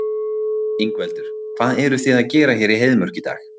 Ingveldur: Hvað eruð þið að gera hér í Heiðmörk í dag?